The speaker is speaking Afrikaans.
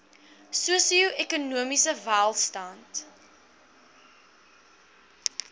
sosio ekonomiese welstand